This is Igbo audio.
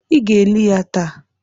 Ị ga-eli ya taa!